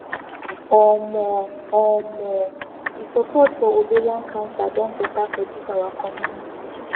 um [um]the support for ovarian cancer don better for this our community